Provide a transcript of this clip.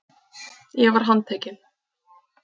Ég var handtekinn.